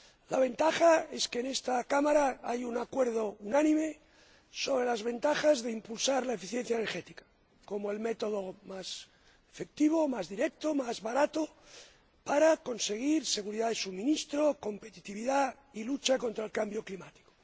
La ventaja es que en esta Cámara hay un acuerdo unánime sobre los beneficios de impulsar la eficiencia energética, como el método más efectivo, más directo, más barato, para conseguir seguridad de suministro, competitividad, y luchar contra el cambio climático.